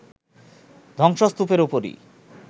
ধ্বংসস্তূপের উপরই